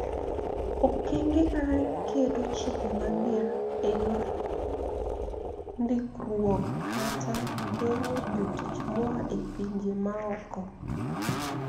Okenge kaka keto chike mager e yor ndikruok kata geng'o jotich moa e pinje maoko